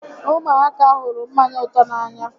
Ụmụaka hụrụ mmanya ụtọ n'anya